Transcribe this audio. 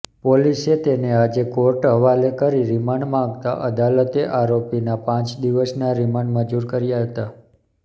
પોલીસે તેને આજે કોર્ટહવાલે કરી રિમાન્ડ માગતાં અદાલતે આરોપીના પાંચ દિવસના રિમાન્ડ મંજૂર કર્યા હતા